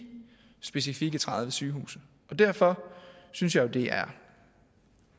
specifikke tredive sygehuse og derfor synes jeg jo det er